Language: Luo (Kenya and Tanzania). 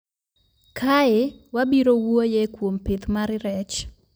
Kae wabirowuoye kuom pith mar rech